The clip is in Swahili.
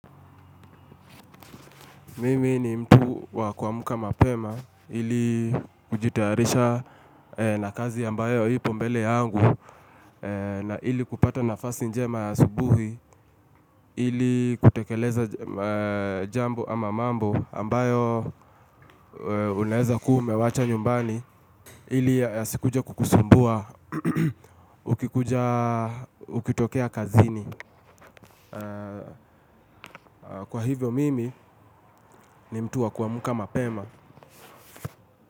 Mimi ni mtu wa kuamka mapema ili kujitayarisha na kazi ambayo ipo mbele yangu na ili kupata nafasi njema ya asubuhi, ili kutekeleza jambo ama mambo ambayo unaeza kuwa umewacha nyumbani, ili yasikuje kukusumbua, ukikuja ukitokea kazini. Kwa hivyo mimi ni mtu wa kuamka mapema.